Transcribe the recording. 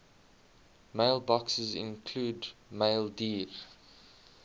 mailboxes include maildir